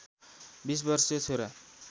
२० वर्षीय छोरा